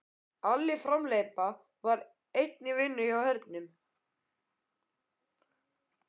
Alli hamhleypa var enn í vinnu hjá hernum.